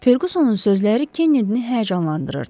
Ferqusonun sözləri Kennedini həyəcanlandırırdı.